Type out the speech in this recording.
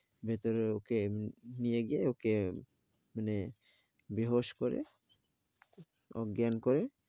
ভেতরে ও ক নিয়ে গিয়ে ও কে, মানে বিহোস করে, অজ্ঞান করে.